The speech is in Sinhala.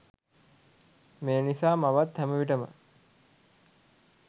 මේ නිසා මවත් හැම විටම